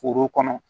Foro kɔnɔ